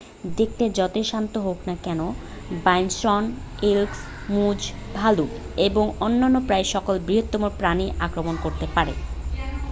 দেখতে যতই শান্ত হোক না কেন বাইসন এল্ক মুজ ভালুক এবং অন্য প্রায় সকল বৃহৎ প্রাণীই আক্রমণ করতে পারে